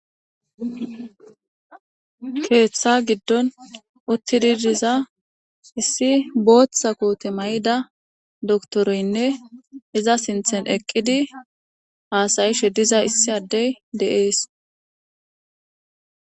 Keththa giddon uttidi diza issi boththa koththe mayida dokiterenne iza sinttan eqqidi hasayishe diza eza qonccises.